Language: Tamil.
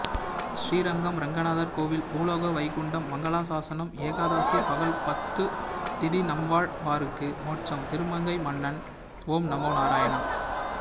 ஸ்ரீரங்கம் ரெங்கநாதர் கோவில் பூலோக வைகுண்டம் மங்களாசாசனம் ஏகாதசி பகல் பத்துதிதிநம்மாழ்வாருக்கு மோட்சம் திருமங்கைமன்னன் ஓம் நமோ நாராயணா